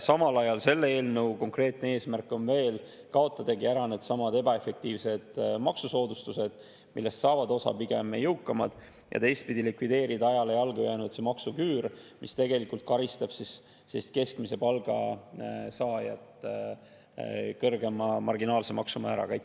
Samal ajal selle eelnõu konkreetne eesmärk on kaotada ära needsamad ebaefektiivsed maksusoodustused, millest saavad osa pigem jõukamad, ja likvideerida ajale jalgu jäänud maksuküür, mis karistab keskmise palga saajat kõrgema marginaalse maksumääraga.